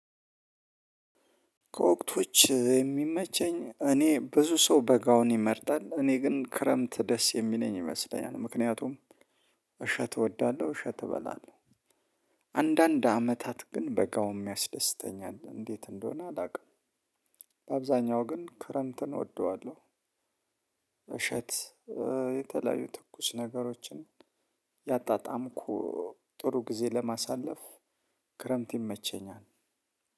ከወቅቶች የሚመቸኝ እኔ ብዙ ሰው በጋውን ይመርጣል። እኔ ግን ክረምት ደስ የሚለኝ ይመስለኛል። ምክንያቱም እሸት እወዳለሁ እሸት እበላለሁ አንዳንድ አመታት ግን በጋውም ያስደስተኛል። እንዴት እንደሆነ አላውቅም። በአብዛኛው ግን ክረምትን እወደዋለሁ። እሸት እ የተለያዩ ትኩስ ነገሮችን ያጣጣምኩ ጥሩ ጊዜ ለማሳለፍ ክረምት ይመቸኛል።